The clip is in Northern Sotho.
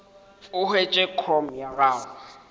o hwetše com ya gago